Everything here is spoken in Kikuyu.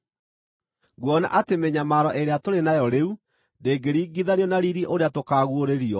Nguona atĩ mĩnyamaro ĩrĩa tũrĩ nayo rĩu ndĩngĩringithanio na riiri ũrĩa tũkaaguũrĩrio.